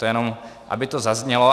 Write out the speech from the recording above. To jenom aby to zaznělo.